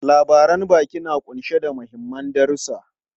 Labaran baki na kunshe da mahimman darusa.